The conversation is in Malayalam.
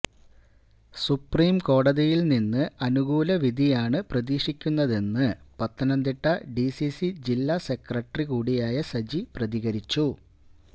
സുപ്രീം കോടതിയില് നിന്ന് അനുകൂല വിധിയാണ് പ്രതീക്ഷിക്കുന്നതെന്ന് പത്തനംതിട്ട ഡിസിസി ജില്ലാ സെക്രട്ടറി കൂടിയായ സജി പ്രതികരിച്ചു